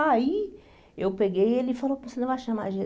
Aí eu peguei ele e falei, você não vai chamar a Jesus?